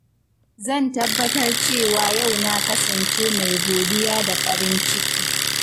Zan tabbatar da cewa yau na kasance mai godiya da farin ciki.